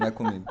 Não é comigo.